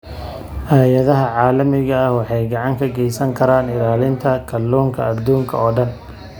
Hay'adaha caalamiga ah waxay gacan ka geysan karaan ilaalinta kalluunka adduunka oo dhan.